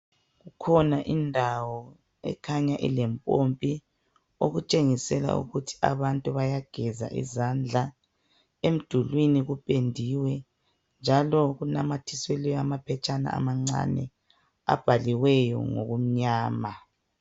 Ikhona indawo ekhanya elempompi, okutshengisela ukuthi abantu bayageza izandla. Emdulwini kuphendiwe njalo kunamathiselwe amaphetshana amancane abhaliweyo ngokumnyama.